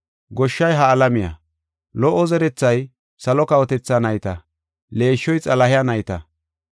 Goshshay ha alamiya. Lo77o zerethay salo kawotethaa nayta. Leeshshoy Xalahe nayta.